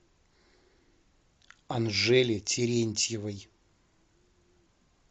анжеле терентьевой